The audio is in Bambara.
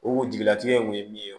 O jigilatigɛ kun ye min ye